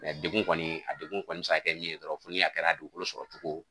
degun kɔni a kɔni bɛ se kɛ min ye dɔrɔn fo ni a kɛra dugukolo sɔrɔ cogo.